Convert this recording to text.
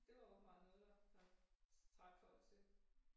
Det var åbenbart noget der der trak folk til